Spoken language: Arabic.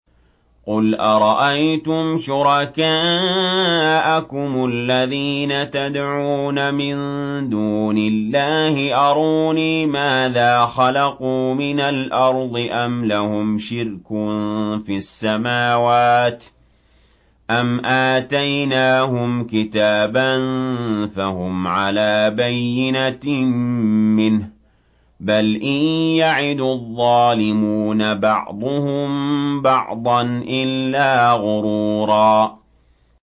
قُلْ أَرَأَيْتُمْ شُرَكَاءَكُمُ الَّذِينَ تَدْعُونَ مِن دُونِ اللَّهِ أَرُونِي مَاذَا خَلَقُوا مِنَ الْأَرْضِ أَمْ لَهُمْ شِرْكٌ فِي السَّمَاوَاتِ أَمْ آتَيْنَاهُمْ كِتَابًا فَهُمْ عَلَىٰ بَيِّنَتٍ مِّنْهُ ۚ بَلْ إِن يَعِدُ الظَّالِمُونَ بَعْضُهُم بَعْضًا إِلَّا غُرُورًا